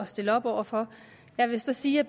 stille op over for jeg vil sige at